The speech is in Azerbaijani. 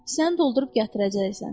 Kisəni doldurub gətirəcəksən.